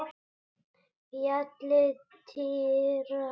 Fjallið titrar.